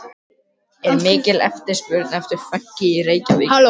En er mikil eftirspurn eftir fönki í Reykjavík?